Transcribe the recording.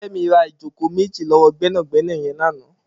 Femi rà ijókó méji lọwọ gbẹnágbẹná yèn làná